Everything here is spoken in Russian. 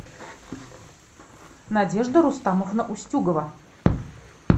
надежда рустамовна устюгова